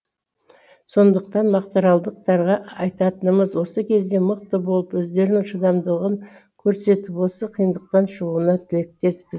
сондықтан мақтааралдықтарға айтатынымыз осы кезде мықты болып өздерінің шыдамдылығын көрсетіп осы қиындықтан шығуына тілектеспіз